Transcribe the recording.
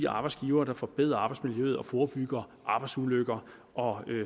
arbejdsgivere der forbedrer arbejdsmiljøet og forebygger arbejdsulykker og